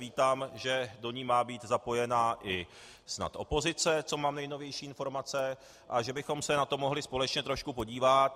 Vítám, že do ní má být zapojena i snad opozice, co mám nejnovější informace, a že bychom se na to mohli společně trošku podívat.